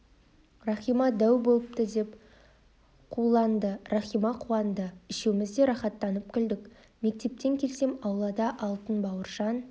рахима дәу болыпты деп қуланды рахима қуанды үшеуіміз де рақаттанып күлдік мектептен келсем аулада алтын бауыржан